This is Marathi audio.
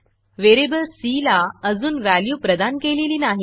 व्हेरिएबल सी ला अजून व्हॅल्यू प्रदान केलेली नाही